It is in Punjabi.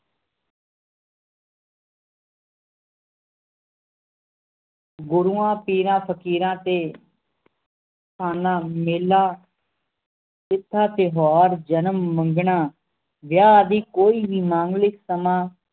ਗੁਰੂਆਂ ਪੀਰਾਂ ਫਕੀਰਾਂ ਤੇ ਖਾਨਾਂ ਮੇਲਾ ਤਿਥਾਂ ਤਿਓਹਾਰ ਜਨਮ ਮੰਗਣਾਂ ਵਿਆਹ ਆਦਿ ਕੋਈ ਵੀ ਮਾਮੂਲਿਕ ਸਮਾਂ